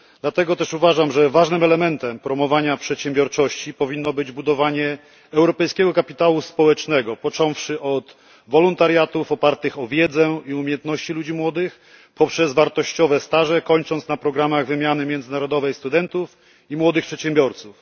Dlatego też uważam, że ważnym elementem promowania przedsiębiorczości powinno być budowanie europejskiego kapitału społecznego począwszy od wolontariatów opartych o wiedzę i umiejętności ludzi młodych, poprzez wartościowe staże, kończąc na programach wymiany międzynarodowej studentów i młodych przedsiębiorców.